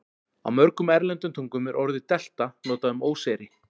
Á mörgum erlendum tungum er orðið delta notað um óseyri.